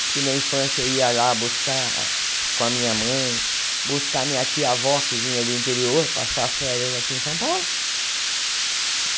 Porque na infância eu ia lá buscar com a minha mãe, buscar a minha tia avó que vinha do interior passar as férias aqui em São Paulo.